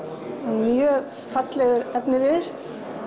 mjög fallegur efniviður